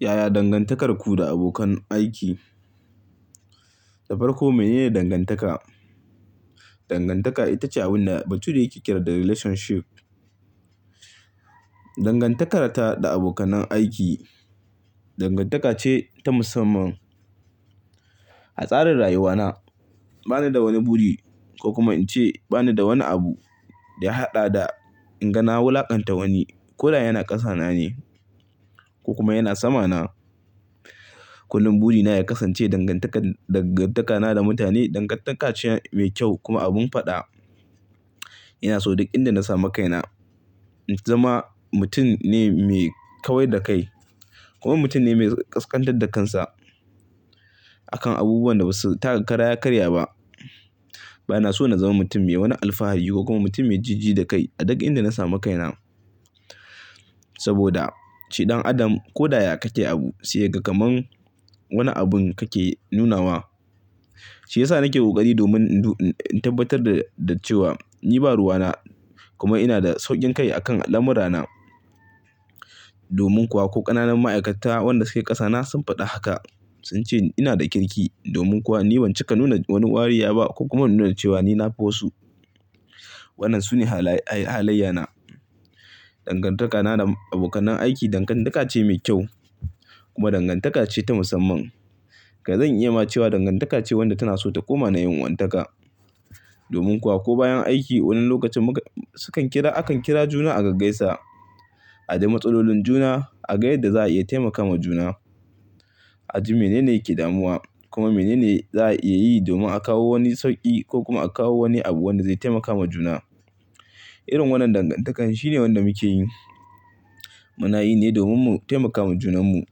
Yaya dangantakarku da abokan aiki? Da farko mene ne dangantaka? Dangantaka ita ce abin da bature yake kira da relationship. Dangantaka ta da abokanai aiki dangantaka ce ta musamman. A tsarin rayuwana, bana da wani buri ko kuma in ce bana da wani abu da ya haɗa da inga na wulaƙanta wani. Ko da yana ƙasa na ne ko kuma yana sama na. Kullum buri na ya kasance dangantaka, dangantakana da mutane dangantaka ce mai kyau kuma abun faɗa. Ina so duk inda na sami kaina in zama mutum ne mai kawai da kai kuma mutum ne mai ƙasƙantar da kansa a kan abubuwan da basu taka kara yakarya ba. Bana so na zama mutum me wani alfahar ko kuma mutum mai jijji da kai a duk inda na samu kaina. Saboda shi dan adam ko da ya kake abu sai ya ga kamar wani abun kake nunawa. Shi ya sa nake ƙoƙari domin in tabbatar da cewa ni ba ruwana kuma ina da sauƙin kai a kan al'amura na. Domin kuwa ko ƙananan ma'aikata wanda suke ƙasa na sun faɗi haka. Sun ce ina da kirki domin kuwa ni ban cika nuna wani wariya ba ko kuma nuna cewa ni na fi wasu. Waɗannan sune halayya na. Dangantaka na da abokanai aiki dangantaka ce mai kyau kuma dangantaka ce ta musamman. Dazan iya ma cewa dangantaka ce wanda tana so ta koma na yan uwantaka. Domin kuwa ko bayan aiki wani lokacin muka, sukan kira, akan kira juna a gaggaisa. A daimatsalolin juna, a ga yadda za'a iya taimaka ma juna. A ji mene ne yake damuwa kuma mene ne za'a iya yi domin a kawo wani sauƙi ko kuma a kawo wani abu wanda zai taimaka ma juna. Irin wannan dangantakan shine wanda muke yi. Mu na yi ne domin mu taimaka ma junan mu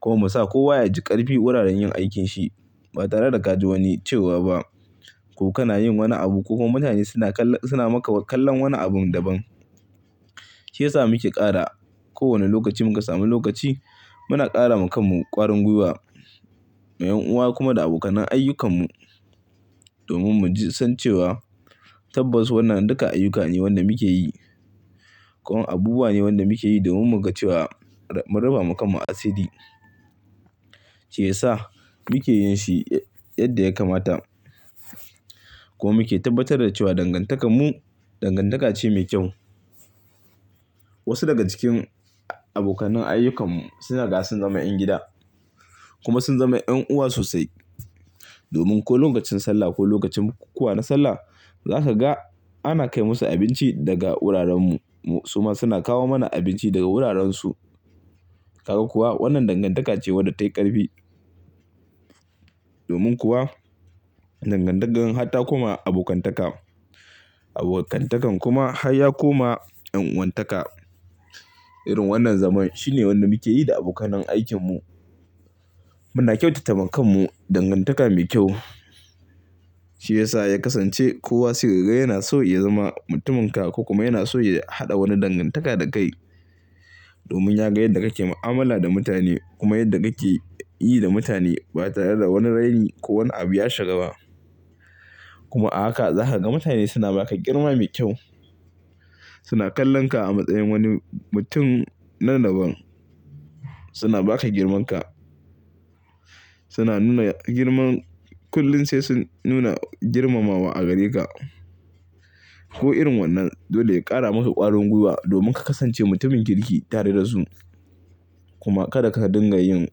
kuma mu sa kowa ya ji ƙarfi wuraren yin aikin shi ba tare da ka ji wani cewa ba. Ko kana yin wani abu ko kuma mutane suna kalla, suna maka kallon wani abun daban. Shi ya sa muke ƙara kowane lokaci muka samu lokaci muna ƙara ma kanmu ƙwarin gwiwa na yan'uwa kuma da abokanai ayyukan mu. Domin mu ji san cewa tabbas wannan duka ayyuka ne wanda muke yi. Ko abubuwa ne wanda muke yi domin mu ga cewa mun rufa ma kanmu asiri. Shi ya sa muke yin shi yadda ya kamata kuma muke tabbatar da cewa dangantakar mu dangantaka ce mai kyau. Wasu daga cikin abokanai ayyukan mu suna da sun zama 'yan gida kuma sun zama yan'uwa sosai. Domin ko lokacin sallah ko lokacin bukukuwa na sallah za ka ga ana kai musu abinci daga wuraren mu su ma suna kawo mana abinci daga wuraren su. Kaga kuwa wannan dangantaka ce wadda ta yi ƙarfi. Domin kuwa dangantaka hatta koma abokantaka. Abokantakan kuma har ya koma yan'uwantaka. Irin wannan zaman shine wanda muke yi da abokanai aikin mu. Muna kyautata ma kanmu dangantaka mai kyau. Shi ya sa ya kasance kowa sai kaga yana so ya zama mutumin ka ko kuma yana so ya haɗa wani dangantaka da kai. Domin ya ga yadda kake mu'amala da mutane kuma yadda kake yi da mutane ba tare da wani raini ko wani abu ya shiga ba. Kuma a haka za ka ga mutane suna ba ka girma mai kyau. Suna kallon ka a matsayin wani mutum na daban. Suna ba ka girmanka. Suna nuna girman, kullum sai sun nuna girmamawa a gare ka. Ko irin wannan dole ya ƙara maka ƙwarin gwiwa domin ka kasance mutumin kirki tare da su. Kuma kada ka dinga yin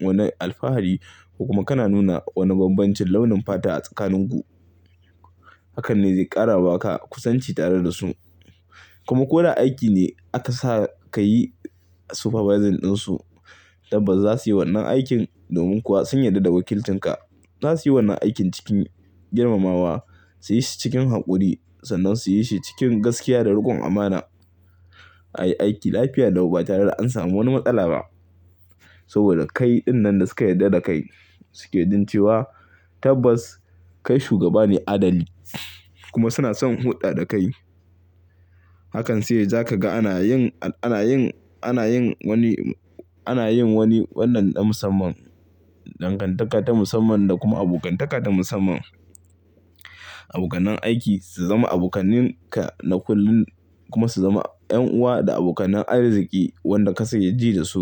wani alfahari ko kuma kana nuna wani bambancin launin fata a tsakanin ku. Hakan ne zai ƙara ba ka kusanci tare da su. Kuma ko da aiki ne aka sa ka yi supervising ɗin su. Tabbas za su yi wannan aikin domin kuwa sun yarda da wakilcin ka. Za su yi wannan aikin cikin girmamawa, su yi shi cikin haƙuri sannan su yi shi cikin gaskiya da rukon amana. A yi aiki lafiya lau batare da an samu wani matsala ba. Saboda kai dinnan da suka yarda da kai suke jin cewa tabbas kai shugaba ne adali kuma suna son huɗa da kai. Hakan sai ya ja ka ga ana yin, ana yin, ana yin wani, ana yin wani wannan na musamman. Dangantaka ta musamman da kuma abokantaka ta musamman. Abokanan aiki su zama abokanan ka na kullum kuma su zama 'yan'uwa da abokanai arziki wanda ka sanya ji da su.